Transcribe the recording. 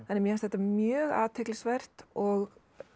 mér finnst þetta mjög athyglisvert og